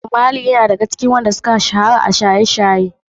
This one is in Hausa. Bob marley yana ɗaya daga cikin waɗan da suka shahara a shaye-shaye.